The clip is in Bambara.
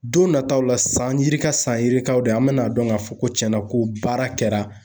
Don nataw la san yirika san yirikaw de an bɛna dɔn k'a fɔ ko cɛn na ko baara kɛra.